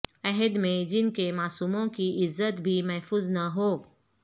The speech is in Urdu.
عہد میں جن کے معصوموں کی عزت بھی محفوظ نہ ہو